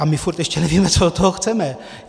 A my pořád ještě nevíme, co od toho chceme.